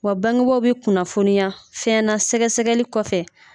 Wa bangebaw bi kunnafoniya fɛnna sɛgɛsɛgɛli kɔfɛ